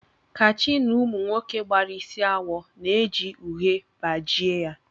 Kachi na Ụmụ nwoke gbara isi awọ na-eji uhie bajie ya